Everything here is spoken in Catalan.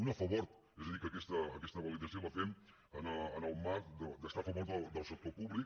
una a favor és a dir que aquesta validació la fem en el marc d’estar a favor del sector públic